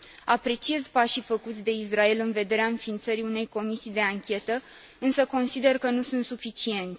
Apreciez pașii făcuți de Israel în vederea înființării unei comisii de anchetă, însă consider că nu sunt suficienți.